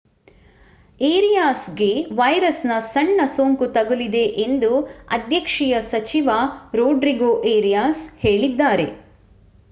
ಏರಿಯಾಸ್‌ಗೆ ವೈರಸ್‌ನ ಸಣ್ಣ ಸೋಂಕು ತಗುಲಿದೆ ಎಂದು ಅಧ್ಯಕ್ಷೀಯ ಸಚಿವ ರೊಡ್ರಿಗೋ ಏರಿಯಾಸ್ ಹೇಳಿದ್ದಾರೆ